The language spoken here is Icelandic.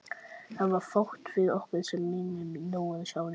Það er fátt við okkur sem minnir núorðið á ljós.